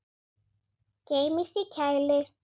Geymist í kæli.